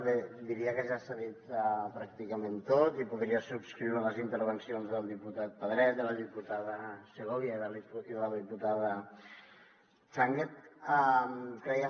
bé diria que ja s’ha dit pràcticament tot i podria subscriure les intervencions del diputat pedret de la diputada segovia i de la diputada changue